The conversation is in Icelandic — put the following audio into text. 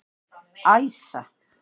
Æsa